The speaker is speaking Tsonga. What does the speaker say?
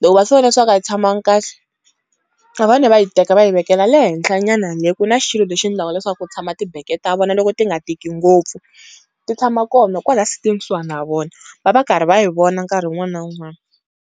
loko va swi vona swaku a yi tshamangi kahle, va fane va yi teka va yi vekela le henhla nyana le, ku na xilo lexi endlaka leswaku ku tshama tibeke ta vona loko ti nga tiki ngopfu. Ti tshama kona kwalaya sitini kusuhana na vona, va va karhi va yi vona nkarhi wun'wani na wun'wani.